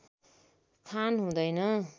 खान हुँदैन